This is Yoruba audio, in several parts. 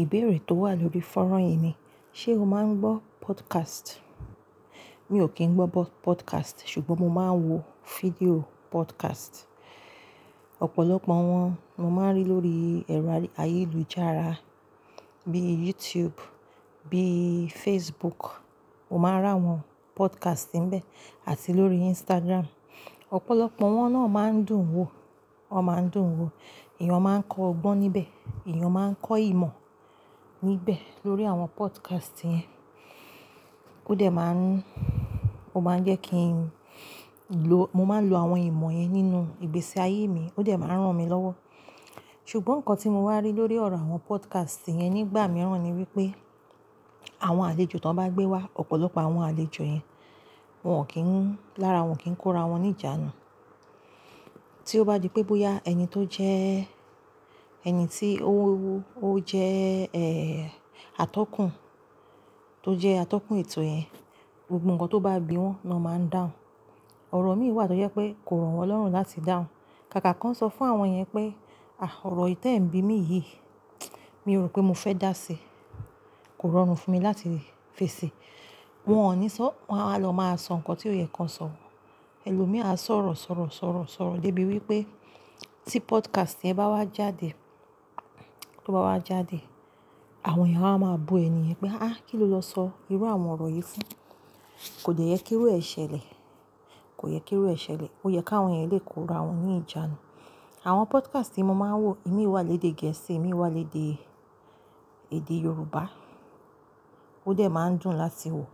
Ìbéèrè tó wà lórí fọ́nrán yìí ni, ṣe o máa ń gbọ́ podcast? Mi ò kí ń gbọ́ podcast, ṣùgbọ́n mo máa ń wo fídíò podcast. Ọ̀pọ̀lọpọ̀ wọn mo máa ń rí lórí ẹ̀rọ ayélujára bíi YouTube, bíi Facebook, o máa r'awọ́n podcast níbẹ̀, àti lórí Instagram. Ọ̀pọ̀lọpọ̀ wọn náà máa ń dùn wo, wọn máa ń dùn wo. Èèyàn máa ń kọ ọgbọ́n níbẹ̀, èèyàn máa ń kọ ìmọ̀ níbẹ̀ lórí àwọn podcast yẹn. Ó dẹ̀ máa ń, ó máa ń jẹ́ kí n lo, mo máa ń lo àwọn ìmọ̀ yẹn nínú ìgbésí ayé mi, ó dẹ̀ máa ń ràn mí lọ́wọ́. Ṣùgbọ́n nǹkan tí mo wá rí lórí ọ̀rọ̀ àwọn podcast yẹn nígbà mìíràn ni wípé àwọn àlejò tan bá gbé wá, ọ̀pọ̀lọpọ̀ àwọn àlejò yẹn wọn ò kí ń, lára wọn o kì n kó ra wọn ní ìjánu. Tí ó bá di pé bóyá ẹni tó jẹ́, ẹni tí ó, ó jẹ́, eh, atọ́kùn, tó jẹ́ atọ́kùn ètò yẹn, gbogbo nǹkan tó bá bi wọn náà máa ń dáhùn. Ọ̀rọ̀ mí wà tó jẹ́ pé kò rọ̀ wọn lọ́rùn láti dáhùn. Kàkà kan sọ fún àwọn yẹn pé, "Àh, ọ̀rọ̀ t'ẹ́n bi mi yìí, mi ò rò pé mo fẹ́ dáa síi. Kò rọrùn fún mi láti fèsì." Wọn ò ní sọ́, wọ́n a wa lọ máa sọ nǹkan tí ò yẹ kan sọ. Ẹ̀lòmíràn a sọ̀rọ̀, sọ̀rọ̀, sọ̀rọ̀, sọ̀rọ̀ dé bí wípé tí podcast yẹn bá wá jáde, tó bá wá jáde, àwọn èèyàn á wa máa bú ẹni yẹn pé, "Áà, kí ló lọ sọ irú àwọn ọ̀rọ̀ yìí fún? Kòde yẹ kíru e ṣẹlẹ̀. Kò yẹ kí ó ṣẹlẹ̀. Ó yẹ káwọn yẹn lè kó ra wọn ní ìjánu." Àwọn podcast tí mo máa ń wò, ìmí wà lédè gẹ̀ẹ́sì, ìmí wà lédè èdè Yorùbá. Ó dẹ̀ máa ń dùn láti wò.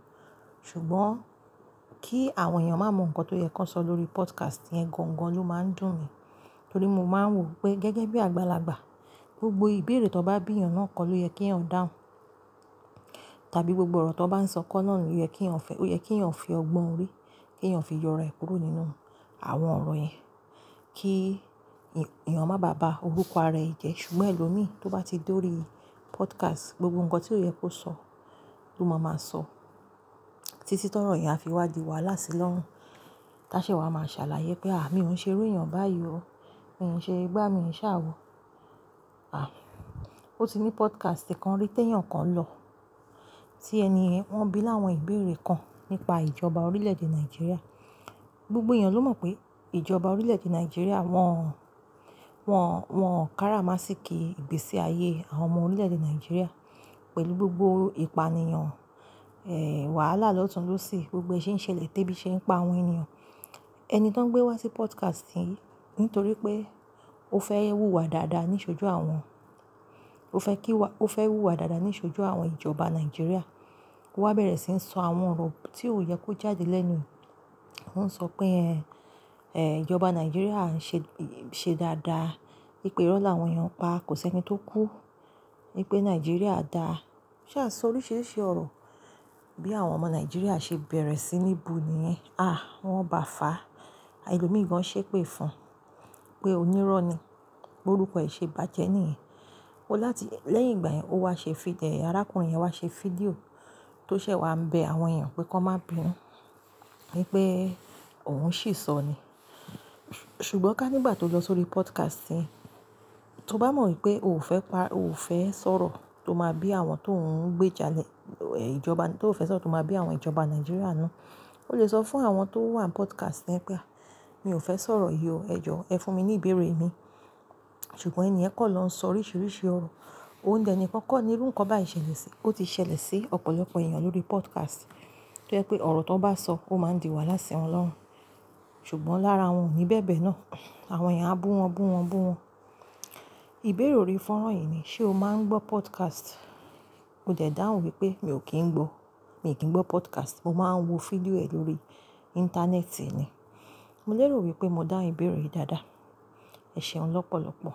Ṣùgbọ́n kí àwọn èèyàn máa mọ nǹkan tó yẹ kan sọ lórí podcast yẹn gan-an ló máa ń dùn mi. Torí mo máa ń wò pé gẹ́gẹ́ bí àgbàlagbà, gbogbo ìbéèrè tan bá bí èèyàn náà kọ́ ló yẹ kí ó dáhùn. Tàbí gbogbo ọ̀rọ̀ tan bá ń sọ kọ́ náà ló yẹ kí ó fi ọgbọ́n orí, kí èèyàn fi yọ'rae kúrò nínú àwọn ọ̀rọ̀ yẹn. Kí èèyàn má bàba orúkọ ara ẹ jẹ́. Ṣùgbọ́n ẹlòmíràn tó bá ti dórí podcast, gbogbo nǹkan tí ó yẹ kó sọ ló máa ma sọ. Títí tọ̀ro yi á fi wá dìí wahalá ṣi lọ́run. Táṣe wà máa sàlàyé pé, "Àh, mi ò ṣe iru èèyàn báyìí ọ́. Mi ò ṣe gbà mí ṣà wò. Àh, ó ti ní podcast kan rí tẹ́yàn kan lọ." Tí èniyen wọ́n bi láwọn ìbéèrè kan nípa ìjọba orílẹ̀-èdè Nàìjíríà. Gbogbo èèyàn ló mọ̀ pé ìjọba orílẹ̀-èdè Nàìjíríà wọ́n, wọ́n, wọ́n káràmásìkí ìgbésí ayé àwọn ọmọ orílẹ̀-èdè Nàìjíríà pẹ̀lú gbogbo ìpànìyàn, eh, wàhálà lọ́tùn-ún ló sì gbogbo ẹṣin ṣẹlẹ̀ tẹ́bí ṣe ń pa àwọn èèyàn. Ẹni tó ń gbé wá sí podcast yen nítorí pé ó fẹ́ wú wa dáadáa níṣojú àwọn, ó fẹ́ kí wá, ó fẹ́ wú wa dáadáa níṣojú àwọn ìjọba Nàìjíríà. Ó wá bẹ̀rẹ̀ sí ń sọ àwọn ọ̀rọ̀ tí ò yẹ kó jáde lẹ́nu. Ó ń sọ pé, eh, ìjọba Nàìjíríà ń ṣe, ṣe dáadáa. Wípé ìrọ́ l'àwọn èèyàn n pa kò sí ẹni tó kú. Wípé Nàìjíríà dáa. O Sa sọ oríṣìíríṣìí ọ̀rọ̀ bí àwọn ọmọ Nàìjíríà ṣe bẹ̀rẹ̀ sí ní bu ni yẹn. Àh, wọ́n bá fà á. Ẹ̀lòmíràn ṣèpè fún un pé onírọ́ni, b'orúkọ rẹ ṣe bàjẹ́ niyen. Ó láti, lẹ́yìn ìgbà yẹn ó wá ṣe fídíò, arákùnrin yẹn wá ṣe fídíò tó ṣẹ̀ wá ń bẹ àwọn èèyàn pé kọ́ má bi wọ́n. Wípé òun sìsọ ni. Ṣùgbọ́n ká nígbà tó lọ sórí podcast yẹn, tó bá mọ̀ wípé ò ò fẹ́ pa, ò fẹ́ sọ̀rọ̀ tó máa bí àwọn tó ń gbé jalè, eh, ìjọba tó fẹ́ sọ tó máa bí àwọn ìjọba Nàìjíríà ninu. Ó lè sọ fún àwọn tó wà ni podcast yẹn pé, "Àh, mi ò fẹ́ sọ̀rọ̀ yìí o, ẹ jọ, ẹ fún mi ní ìbéèrè mi." Ṣùgbọ́n èniyen kan lọ ń sọ oríṣìíríṣìí ọ̀rọ̀. Òún dẹ̀ nìkan kọ́ ni irú nǹkan báyìí ṣẹlẹ̀ sí, ó ti ṣẹlẹ̀ sí ọ̀pọ̀lọpọ̀ èèyàn lórí podcast. Toje pé ọ̀rọ̀ tan bá sọ ó máa ń di wàhálà sí wọn lọ́run. Ṣùgbọ́n lára wọn ò ní bẹ̀bẹ̀ náà. Àwọn èèyàn á bú wọn, bú wọn, bú wọn. Ìbéèrè orí fọ́nrán yìí ni, ṣe o máa ń gbọ́ podcast? MÓ dẹ̀ dáhùn wípé mi ò kí ń gbọ́, mi ò kí ń gbọ́ podcast. Mo máa ń wo fídíò rẹ̀ lórí ìńtánẹ́ẹ̀tì ni. Mo lérò wípé mo dáhun ìbéèrè yìí dáadáa. Ẹ̀ṣẹ̀un lọ́pọ̀lọpọ̀.